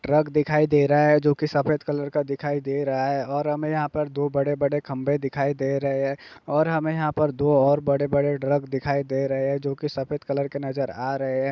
Truck दिखाई दे रहा है जो की सफेद कलर का दिखाई दे रहा है और हमें यहां पर दो बड़े-बड़े खंबे दिखाई दे रहे हैं और हमें यहां पर दो और बड़े-बड़े ट्रक दिखाई दे रहे हैं जो की सफेद कलर के नजर आ रहे हैं ।